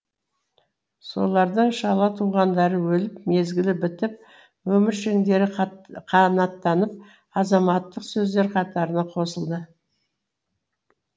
солардың шала туғандары өліп мезгілі бітіп өміршеңдері қанаттанып азаматтық сөздер қатарына қосылды